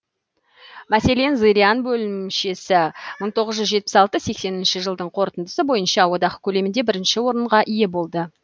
мәселен зырян бөлімшесі мың тоғыз жүз жетпіс алты сексенінші жылдың қорытындысы бойынша одақ көлемінде бірінші орынға ие болды